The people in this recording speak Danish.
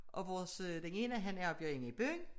Og vores den ene han arbejder inde i byen